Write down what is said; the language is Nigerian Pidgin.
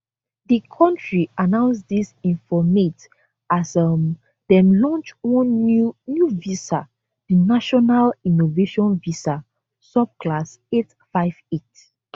di kontri announce dis informate as um dem launch one new new visa di national innovation visa subclass 858